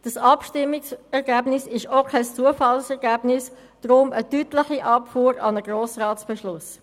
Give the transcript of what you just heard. Das Abstimmungsergebnis war auch kein Zufallsergebnis, sondern eine deutliche Abfuhr an einen Beschluss des Grossen Rats.